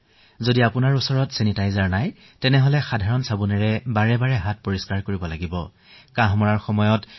যদি আপোনাৰ ওচৰত ছেনিটাইজাৰ নাই তেন্তে সাধাৰণ চাবোনেৰেও হাত ধুব পাৰে আৰু সঘনাই ধুব লাগে